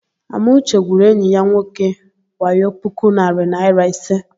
Amauche gwuru enyi ya nwoke wayo puku narị naịra ise.